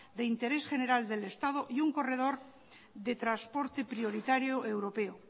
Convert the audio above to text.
de interés general del estado y un corredor de transporte prioritario europeo